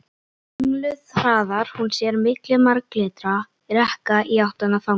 Ringluð hraðar hún sér milli marglitra rekka í áttina þangað.